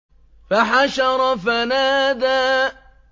فَحَشَرَ فَنَادَىٰ